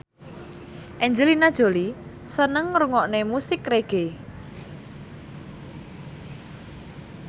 Angelina Jolie seneng ngrungokne musik reggae